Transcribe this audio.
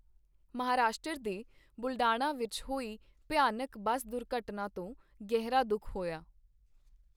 ਮਹਾਰਾਸ਼ਟਰ ਦੇ ਬੁਲਢਾਣਾ ਵਿੱਚ ਹੋਈ ਭਿਆਨਕ ਬੱਸ ਦੁਰਘਟਨਾ ਤੋਂ ਗਹਿਰਾ ਦੁੱਖ ਹੋਇਆ।